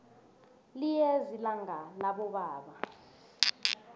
liyeza ilanga labobaba